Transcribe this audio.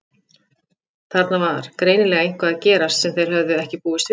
Þarna var greinilega eitthvað að gerast sem þeir höfðu ekki búist við.